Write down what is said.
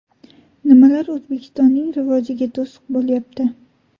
Nimalar O‘zbekistonning rivojiga to‘siq bo‘lyapti?